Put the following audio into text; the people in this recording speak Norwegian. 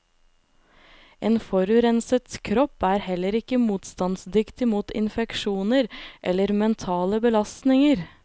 En forurenset kropp er heller ikke motstandsdyktig mot infeksjoner eller mentale belastninger.